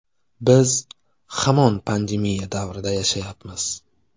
Biz hamon pandemiya davrida yashayapmiz.